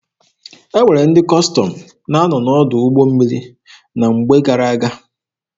E nwere ndị Kọstọm na-anọ n'ọdụ ụgbọ mmiri na mgbe gara-aga.